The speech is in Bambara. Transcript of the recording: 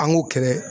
An k'o kɛlɛ